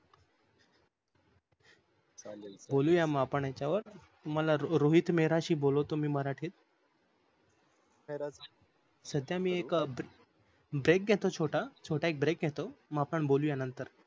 बोलूया आपण याच्यवर तुमला रोहित मेहराशी बोलवतो मी मराठीत सध्या मी ए brake घेतो छोटा brake घेतो छोटा मग आपण बोलूया नंतर